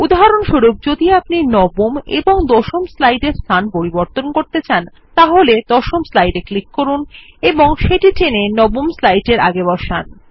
উদাহরণস্বরূপ যদি আপনি নবম এবং দশম স্লাইডের স্থান পরিবর্তন করতে চান তাহলে দশম স্লাইড এ ক্লিক করুন এবং সেটি টেনে নবম স্লাইড এর আগে বসান